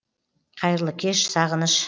қайырлы кеш сағыныш